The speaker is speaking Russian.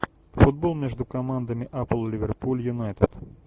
футбол между командами апл ливерпуль юнайтед